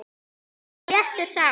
Og hann var léttur þá.